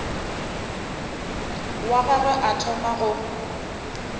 wa gagwe o thoma go